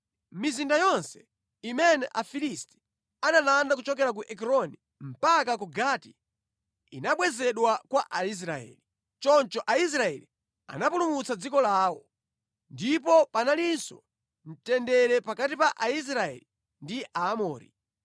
Mizinda yonse imene Afilisti analanda kuchokera ku Ekroni mpaka ku Gati inabwezedwa kwa Aisraeli. Choncho Aisraeli anapulumutsa dziko lawo. Ndipo panalinso mtendere pakati pa Aisraeli ndi Aamori.